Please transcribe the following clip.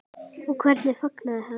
Og hvernig fagnaði hann?